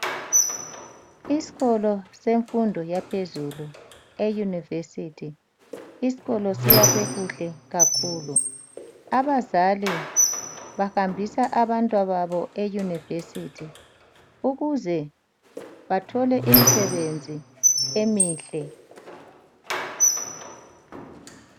Iskolo semfundo yaphezulu e yunivesithi, iskolo siyakwe kuhle kakhulu. Abazali bahambisa abantwababo eyunivesithi ukuze bathole imsebenzi emihle.